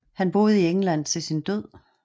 Han boede i England til sin død